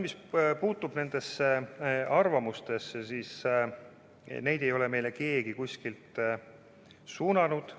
Mis aga puutub nendesse arvamustesse, siis neid ei ole keegi kuskilt suunanud.